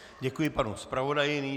Děkuji panu zpravodaji.